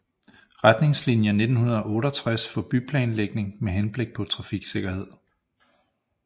Retningsliner 1968 for byplanlægning med henblik på trafiksikkerhed